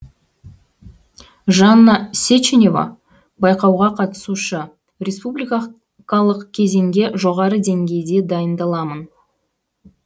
жанна сеченева байқауға қатысушы республика кезеңге жоғары деңгейде дайындаламын